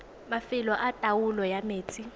mafelo a taolo ya metsi